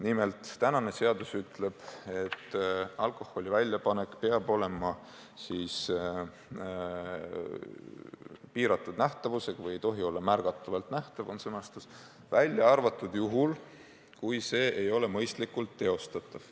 Nimelt, praegune seadus ütleb, et alkoholi väljapanek peab olema piiratud nähtavusega või ei tohi olla märgatavalt nähtav – selline on sõnastus –, välja arvatud juhul, kui see ei ole mõistlikult teostatav.